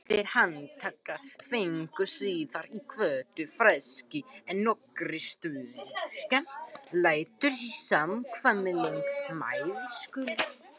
Þeir handteknu fengu síðar í kvöld frelsi en nokkrir stuðningsmenn lentu í smávægilegum meiðslum.